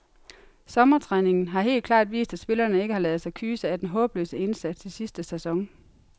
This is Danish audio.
Sommertræningen har helt klart vist, at spillerne ikke har ladet sig kyse af den håbløse indsats i sidste sæson.